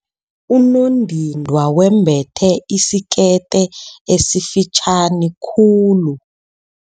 Unondindwa wembethe isikete esifitjhani khulu.